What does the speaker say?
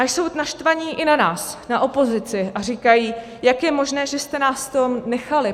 A jsou naštvaní i na nás, na opozici, a říkají, jak je možné, že jste nás v tom nechali?